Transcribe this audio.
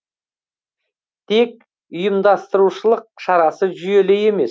тек ұйымдастырушылық шарасы жүйелі емес